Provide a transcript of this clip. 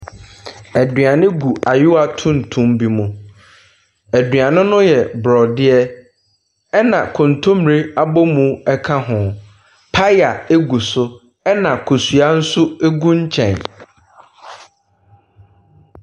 Aduane gu ayewaa tuntum bi mu. Aduane no yɛ borɔdeɛ na kontommire abɔmu ka ho. Paya gu so na kosua nso gu nkyɛn.